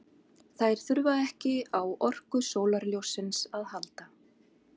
Þær þurfa ekki á orku sólarljóssins að halda.